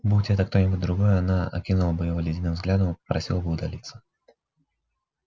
будь это кто-нибудь другой она окинула бы его ледяным взглядом и попросила бы удалиться